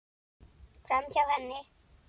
Framhjá henni.